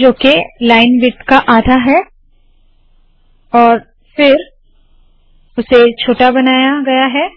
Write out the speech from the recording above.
जो है line width का आधा और फिर उसे छोटा बनाया गया है